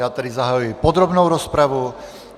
Já tedy zahajuji podrobnou rozpravu.